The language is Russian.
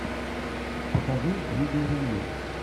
покажи видео ревью